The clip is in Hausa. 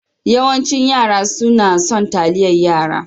Yawancin yara sunna son taliyar yara.